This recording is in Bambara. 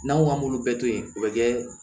N'an ko k'an b'olu bɛɛ to yen o bɛ kɛ